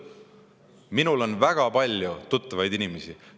Minul on väga palju tuttavaid inimesi, kes on õigeusklikud.